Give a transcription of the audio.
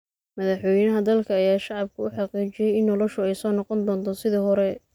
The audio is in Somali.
Madaxweynaha dalka ayaa shacabka u xaqiijiyay in noloshu ay soo noqon doonto sidii hore